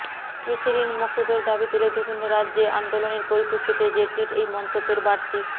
কৃষি ঋণ মকুবের দাবি তুলে বিভিন্ন রাজ্যে আন্দোলনের পরিপ্রেক্ষিতে জেটলির এই মন্তব্যের বাড়তি